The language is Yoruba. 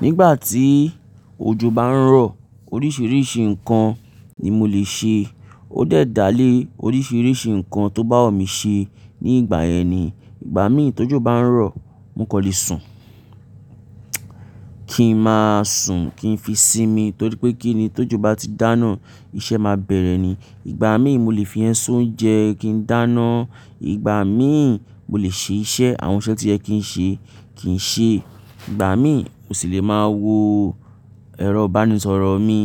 Nígbà tí ojo bá ń rọ, oríṣiríṣi nǹkan ni mo lè ṣe. Ó de dá lé oríṣiríṣi nǹkan tó bá wumi ṣe ní ìgbà yẹn ni. Ìgbà mí tó jù bá ń rọ̀, mo kò lè sùn. Kì ń máa sùn, kì ń fi sími torí pé kí ni tó jù bá ti dáná, iṣẹ́ máa bẹ̀rẹ̀ ni. Ìgbà mí mo lè fi ẹ́yin ṣe ounjẹ, kí n dáná. Ìgbà mí mo lè ṣe iṣẹ́, àwọn iṣẹ́ tí ẹ kì ń ṣe kì ń ṣe. Ìgbà mí mo sì lè máa wo ẹrọ̀ ìbánisọ̀rọ̀ mi,